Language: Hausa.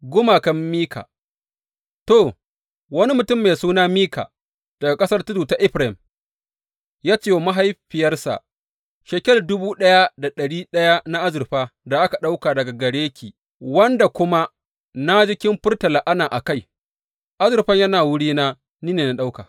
Gumakan Mika To, wani mutum mai suna Mika daga ƙasar tudu ta Efraim ya ce wa mahaifiyarsa, Shekel dubu ɗaya da ɗari ɗaya na azurfa da aka ɗauka daga gare ki wanda kuma ji kin furta la’ana a kai, azurfan yana wurina; ni ne na ɗauka.